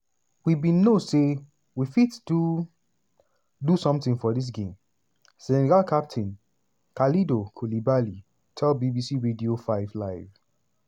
we bin know say we fit do do something for dis game" senegal captain kalidou koulibaly tell bbc radio 5 live.